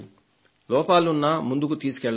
లోపాలున్నా ముందుకే తీసుకెళ్లాలి